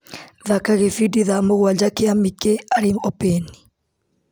Thaka gĩbindi thaa mũgwanja kia Mikĩ Arĩ Opĩni .